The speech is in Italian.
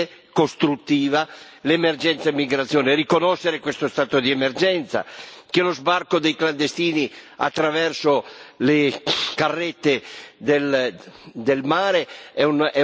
Bisogna riconoscere questo stato di emergenza, il fatto che lo sbarco dei clandestini attraverso le carrette del mare è un metodo sbagliato che serve solo ai trafficanti.